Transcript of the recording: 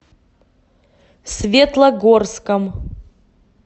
светлогорском